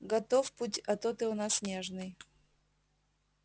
готов пуьь а то ты у нас нежный